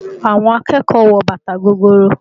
Àwọn akẹ́kọ̀ọ́ wọ bàtà gogoro